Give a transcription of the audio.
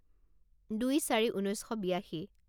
দুই চাৰি ঊনৈছ শ বিয়াশী